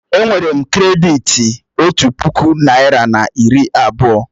È nwere m krèditi otu puku naị́ra na narị abụọ